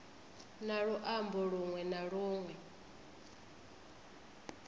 na luambo lunwe na lunwe